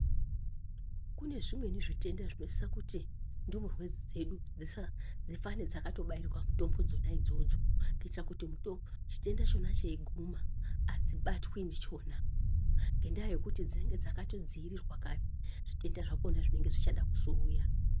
Kune zvimweni zvitenda zvinosisa kuti ndumurwe dzedu dzifane dzakabairwa mutombo dzona idzodzo kuti chitenda cheiguma hadzibatwi ndichona nendaya yekuti dzinenge dzakadziirirwa kare zvitenda zvakona zvinenge zvichada kuzouya.